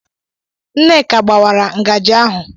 Nneka gbawara ngaji ahu